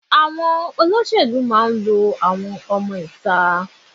Àwọn olóṣèlú máa ń lo àwọn ọmọ ìta.